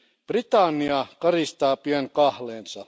Britannia karistaa pian kahleensa.